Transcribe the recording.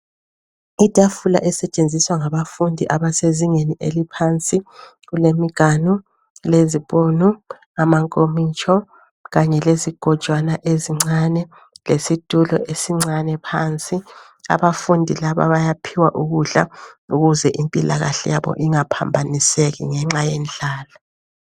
Itafula esetshenziswa ngabafundi abasezingeni eliphansi, kulemiganu lezipunu, amankomitsho kanye lezigojwana ezincane lesitulo esincane phansi. Abafundi laba bayaphiwa ukudla ukuze impilakahle yabo ingaphambaniseki ngenxa yendlala.